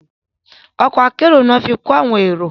Ọkọ̀ èrò ní wón fí kò àwọn èrò